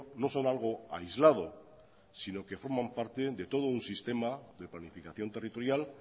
no son algo aislado sino que forman parte de todo un sistema de planificación territorial